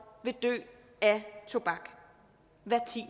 vil dø af tobak